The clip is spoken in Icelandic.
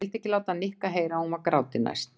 Hún vildi ekki láta Nikka heyra að hún var gráti næst.